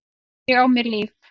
Ég á mér líf.